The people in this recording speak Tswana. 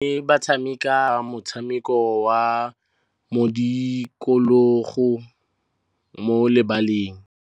Basimane ba tshameka motshameko wa modikologô mo lebaleng.